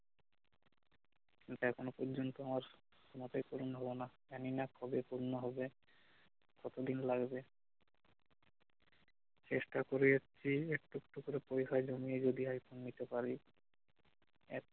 কিন্তু এখনো পর্যন্ত আমার স্বপ্নটাই পুরন হল না জানি না কবে পূর্ণ হবে কতদিন লাগবে চেষ্টা করে এসছি একটু একটু করে পয়সা জমিয়ে যদি আইফোন নিতে পারি